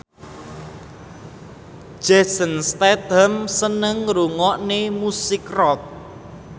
Jason Statham seneng ngrungokne musik rock